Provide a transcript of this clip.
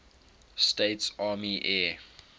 states army air